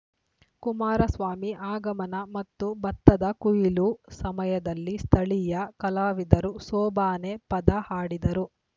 ಕುಮಾರಸ್ವಾಮಿ ಆಗಮನ ಮತ್ತು ಭತ್ತದ ಕೊಯ್ಲು ಸಮಯದಲ್ಲಿ ಸ್ಥಳೀಯ ಕಲಾವಿದರು ಸೋಬಾನೆ ಪದ ಹಾಡಿದರು